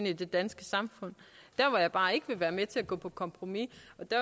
i det danske samfund der er bare ikke vil være med til at gå på kompromis